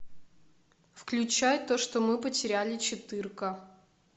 включай то что мы потеряли четырка